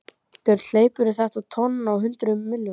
Björn: Hleypur þetta tjón á hundruðum milljóna?